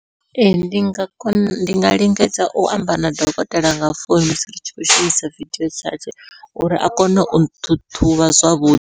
Ee ndi nga kona ndi nga lingedza u amba na dokotela nga founu musi ri tshi khou shumisa vidio chats uri a kone u ṱhuṱhuvha zwavhuḓi.